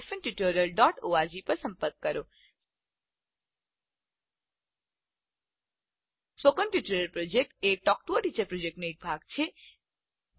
spoken tutorial project a talk to a teacher પ્રોજેક્ટનો એક ભાગ છે